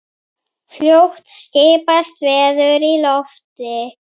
Fljótt skipast veður í lofti.